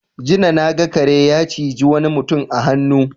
Jina na ga kare ya ciji wani mutum a hannu.